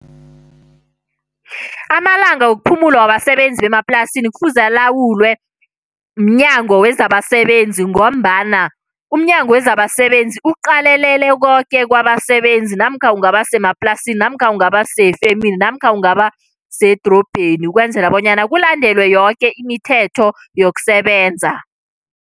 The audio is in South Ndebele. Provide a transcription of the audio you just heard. Amalanga wokuphumula wabasebenzi bemaplasini kufuze alawulwe mNyango wezabaSebenzi ngombana uMnyango wezabaSebenzi uqalelele koke kwabasebenzi, namkha ungabasemaplasini, namkha kungaba sefemini, namkha ungaba sedorobheni. Ukwenzela bonyana kulandelwe yoke imithetho yokusebenza.